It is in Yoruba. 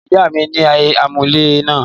Ìyá mi ni anulẹ̀ náà